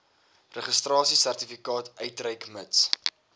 registrasiesertifikaat uitreik mits